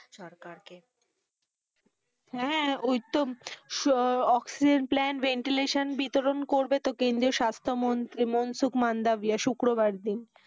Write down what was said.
সরকারকে হ্যাঁ, ওই তো সো অক্সিজেন, প্লান্ট ভেন্টিলেশন, বিতরণ করবে তো কেন্দ্রীয় স্বাস্থ মন্ত্রী মনসুখ মাণ্ডাভিয়া শুক্রবার দিন।